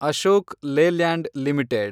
Ashok Leyland limited